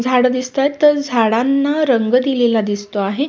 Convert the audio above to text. झाडं दिसताहेत तर झाडांना रंग दिलेला दिसतो आहे.